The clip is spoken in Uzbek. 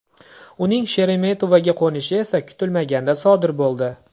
Uning Sheremetovoga qo‘nishi esa kutilmaganda sodir bo‘ldi.